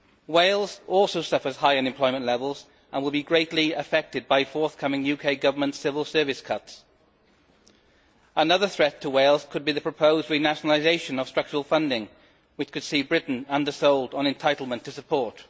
Wales also suffers high unemployment levels and will be greatly affected by forthcoming UK Government civil service cuts. Another threat to Wales could be the proposed renationalisation of structural funding, which could see Britain undersold on entitlement to support.